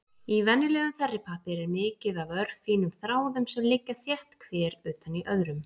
Í venjulegum þerripappír er mikið af örfínum þráðum sem liggja þétt hver utan í öðrum.